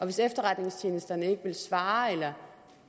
hvis efterretningstjenesterne ikke vil svare eller